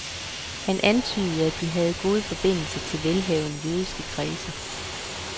Han antydede, at de havde gode forbindelser til velhavende jødiske kredse.